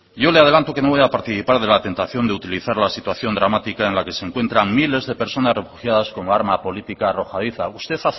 yo le adelanto que no voy a participar de la tentación de utilizar la situación dramática en la que se encuentran miles de personas refugiadas como arma política arrojadiza usted